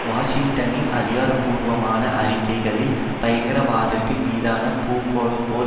வாஷிங்டனின் அதிகார பூர்வமான அறிக்கைகளில் பயங்கரவாதத்தின் மீதான பூகோள போர்